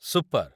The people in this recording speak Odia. ସୁପର୍!